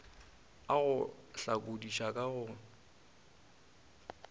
a go hlakodiša ka go